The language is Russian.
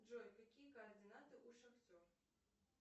джой какие координаты у шахтер